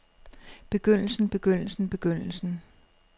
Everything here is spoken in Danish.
begyndelsen begyndelsen begyndelsen